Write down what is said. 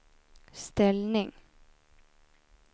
ställning